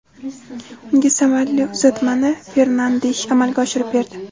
Unga samarali uzatmani Fernandesh amalga oshirib berdi.